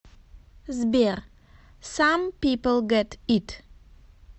сбер сам пипл гет ит